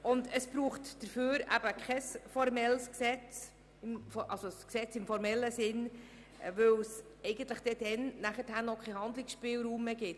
Dafür braucht es kein Gesetz im formellen Sinn, weil es dann auch keinen Handlungsspielraum gibt.